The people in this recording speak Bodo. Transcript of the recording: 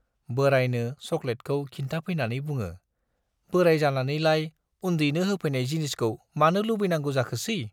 बोरायनो सक'लेटखौ खिन्थाफैनानै बुङो, बोराइ जानानैलाय उन्दैनो होफैनाय जिनिसखौ मानो लुबैनांगौ जाखोसै ?